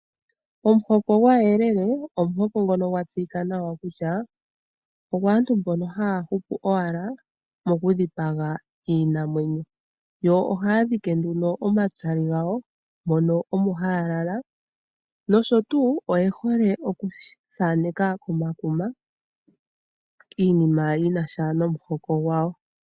Omuhoko gwaayelele ,ogwa tseyika nawa kutya ogwaantu mbono ha ya hupu owala mokudhipaga iinamwenyo. Yo ohaa dhike nduno omatsali gawo mono omo haa lala, nosho tuu oye hole okuthaaneka komakuma iinima yinasha nomuhoko gwawo.